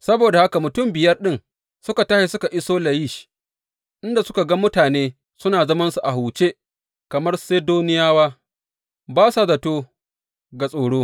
Saboda haka mutum biyar ɗin suka tashi suka iso Layish, inda suka ga mutane suna zamansu a huce, kamar Sidoniyawa, ba sa zato ga tsaro.